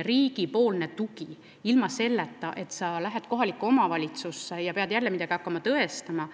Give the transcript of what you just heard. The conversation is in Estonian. riigi tugi peaks jääma selliseks, et sa ei pea minema kohalikku omavalitsusse jälle midagi tõestama.